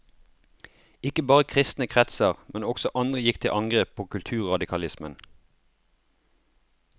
Ikke bare kristne kretser, men også andre gikk til angrep på kulturradikalismen.